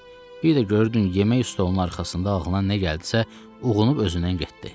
Bir də görürdün yemək stolunun arxasında ağlına nə gəldisə, uğunub özündən getdi.